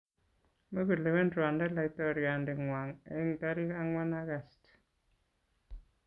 Mukulewen Rwanda Laitoriande ng'wany eng tarik ang'wan August.